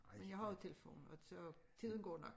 Men jeg har jo telefon og så tiden går nok